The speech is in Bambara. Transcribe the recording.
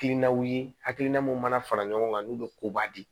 Hakilinaw ye hakilina mun mana fara ɲɔgɔn kan n'u bɛ koba di